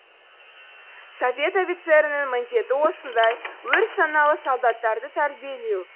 совет офицерінің міндеті осындай өр саналы солдаттарды тәрбиелеу